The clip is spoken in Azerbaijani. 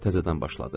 Təzədən başladı.